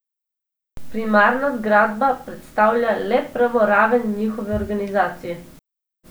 Primarna zgradba predstavlja le prvo raven njihove organizacije.